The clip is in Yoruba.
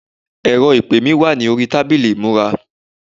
ẹrọ ìpè mi wà ní orí tábìlì ìmúra